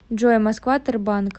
джой москва тербанк